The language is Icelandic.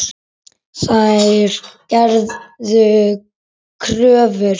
Þær gerðu kröfur.